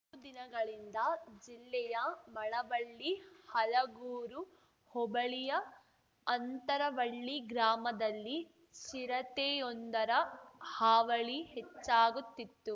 ದಿನಗಳಿಂದ ಜಿಲ್ಲೆಯ ಮಳವಳ್ಳಿ ಹಲಗೂರು ಹೋಬಳಿಯ ಅಂತರವಳ್ಳಿ ಗ್ರಾಮದಲ್ಲಿ ಚಿರತೆಯೊಂದರ ಹಾವಳಿ ಹೆಚ್ಚಾಗುತ್ತಿತ್ತು